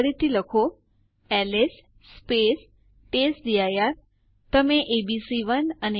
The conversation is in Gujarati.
ચાલો ટર્મિનલ પર આ પ્રયાસ કરીએ